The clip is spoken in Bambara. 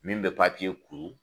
Min bɛ kuru.